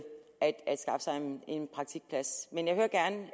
at skaffe sig en praktikplads men jeg hører gerne